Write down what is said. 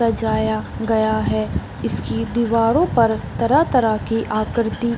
सजाया गया है इसकी दीवारों पर तरह-तरह की आकृति --